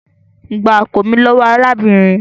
Gbá àpò mi lówó arábìnrin mí!